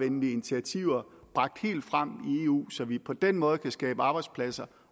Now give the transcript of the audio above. initiativer bragt helt frem i eu så vi på den måde kan skabe arbejdspladser